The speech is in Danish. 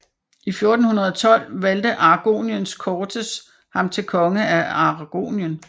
I 1412 valgte Aragoniens cortes ham til konge af Aragonien